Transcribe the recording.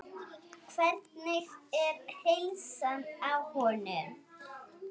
Hvernig er heilsan á honum?